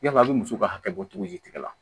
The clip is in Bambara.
Yala a bɛ muso ka hakɛ bɔ cogo ji la